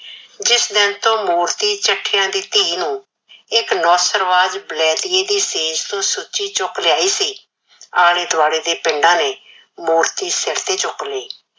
ਜਿਸ ਦਿਨ ਤੋੰ ਮੂਰਤੀ ਚੱਠਿਆਂ ਦੀ ਧੀ ਨੂੰ ਇੱਕ ਨੌਸਰਵਾਜ ਬਲੈਤੀਏ ਦੀ ਸੇਜ ਤੋਂ ਸੁੱਚੀ ਚੁੱਕ ਲਿਆਏ ਸੀ, ਆਲੇ ਦੁਆਲੇ ਦੇ ਪਿੰਡਾਂ ਨੇ ਮੂਰਤੀ ਸਿਰ ਤੇ ਚੁੱਕ ਲਈ।